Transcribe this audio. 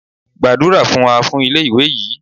Gbàdúrà fún wa fún ilé ìwé yìí!